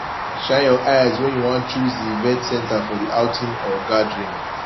shine your eyes when you wan choose di event center for the outing or gathering